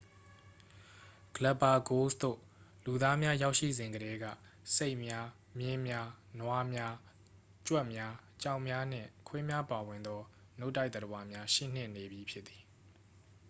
ဂလက်ပါဂိုးစ် သို့ လူသားများရောက်ရှိစဉ်ကတည်းက ဆိတ်များ မြင်းများ နွားများ ကြွက်များ ကြောင်များနှင့် ခွေးများပါဝင်သော နို့တိုက်သတ္တဝါများရှိနှင့်နေပြီးဖြစ်သည်